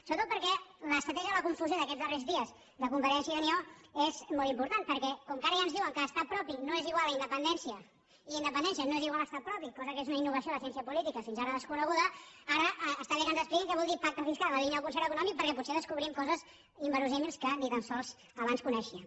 sobretot perquè l’estratègia de la confusió d’aquests darrers dies de convergència i unió és molt impor·tant perquè com que ara ja ens diuen que estat propi no és igual a independència i que independència no és igual a estat propi cosa que és una innovació a la cièn·cia política fins ara desconeguda ara està bé que ens expliquin què vol dir pacte fiscal en la línia del con·cert econòmic perquè potser descobrim coses inver·semblants que abans ni tan sols coneixíem